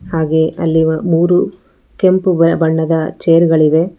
ಹಾಗೆ ಅಲ್ಲಿ ವ ಮೂರು ಕೆಂಪು ವ ಬಣ್ಣದ ಚೇರ್ ಗಳಿವೆ.